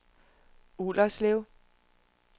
Ullerslev